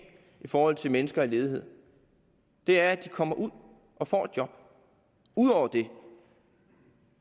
forhold til mennesker i ledighed det er at de kommer ud og får et job ud over det